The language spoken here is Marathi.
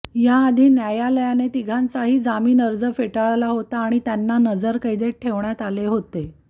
याआधी न्यायालयाने तिघांचाही जामीन अर्ज फेटाळला होता आणि त्यांना नरजरकैदेत ठेवण्यात आले होते